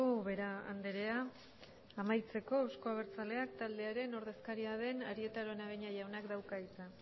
ubera andrea amaitzeko euzko abertzaleak taldearen ordezkaria den arieta araunabeña jaunak dauka hitza